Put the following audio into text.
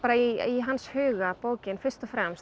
í hans huga bókin fyrst og fremst